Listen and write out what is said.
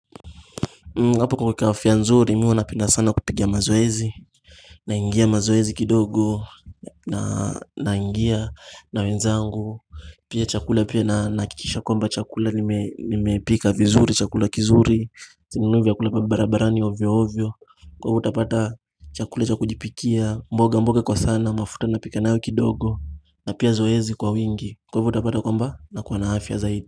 Hapo kuweka afya nzuri mimi huwa napenda sana kupiga mazoezi naingia mazoezi kidogo naingia na wenzangu Pia chakula pia ninahakisha kwamba chakula nimepika vizuri chakula kizuri Sinunuwi vyakula vya barabarani hovyo hovyo Kwa hivyo utapata chakula chakujipikia mboga mboga kwa sana mafuta napika nayo kidogo na pia zoezi kwa wingi Kwa hivyo utapata kwamba nakuwa na afya zaidi.